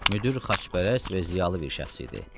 Müdir xaçpərəst və ziyalı bir şəxs idi.